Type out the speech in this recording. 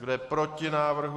Kdo je proti návrhu?